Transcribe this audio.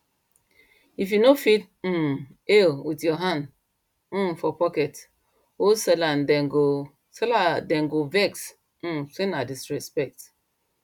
you no fit um hail with hand um for pocket old seller dem go seller dem go vex um say na disrespect